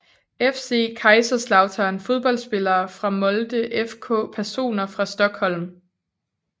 FC Kaiserslautern Fodboldspillere fra Molde FK Personer fra Stockholm